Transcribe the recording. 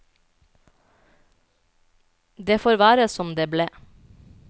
Det får være som det ble.